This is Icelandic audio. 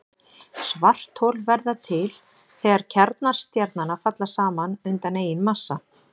Svarthol verða til þegar kjarnar stjarnanna falla saman undan eigin massa.